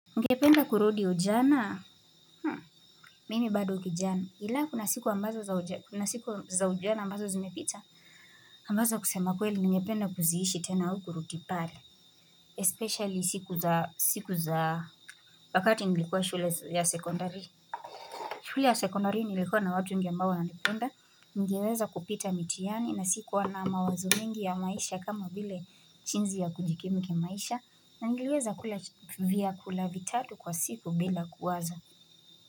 Ngependa kurudi ujana mimi bado ukijana ila kuna siku ambazo za ujana ambazo zimepita ambazo kusema kweli ngependa kuziishi tena uku rutipale Especilly siku za siku za wakati nilikuwa shule ya sekondari shule ya sekundari nilikuwa na watu ambao wana nipenda ningeweza kupita mitiani na sikuwa na mawazo mingi ya maisha kama bile chinzi ya kujikimu kimaisha na ngeweza kula vya kula vitatu kwa siku bila kuwaza.